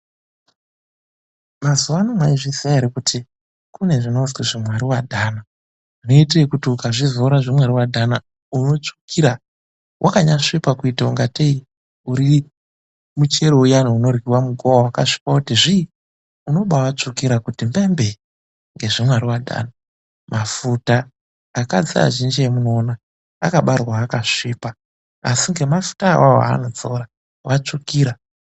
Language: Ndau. Mazuva ano mwaizviziya ere kuti kune zvimwari wadhana, zvinoite ekuti ukazvidzora zvimwari wadhana unombatsvukira, wakanyasvipa kuite ingateyi uri muchero uya unoryiwe mugowa wakasvipa kuti zvii. Unombatsvukira kuti mbembee asi ngemafuta awawo muntu wamba tsvukira ngekudzora zvimwari wadhana Madzimai eshe amunoona aya akabarwa akasvipa kuti zvii asi ngemafuta awawo vabatsvukira.